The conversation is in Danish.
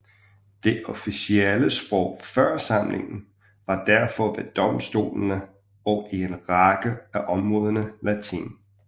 Det officielle sprog før samlingen var derfor ved domstolene og i en række af områderne latin